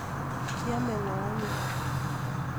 Kiome ngo anyun